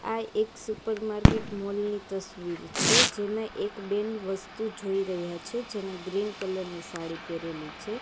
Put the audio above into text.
આ એક super market mall ની તસવીર છે જેમાં એક બેન વસ્તુ જોઈ રહ્યા છે જેને ગ્રીન કલર ની સાડી પહેરેલી છે.